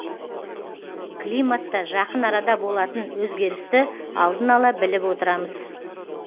климатта жақын арада болатын өзгерісті алдын ала біліп отырамыз